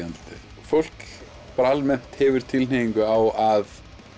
andlitið fólk almennt hefur tilhneigingu á að